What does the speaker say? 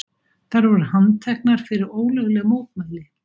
Þær voru handteknar fyrir ólögleg mótmæli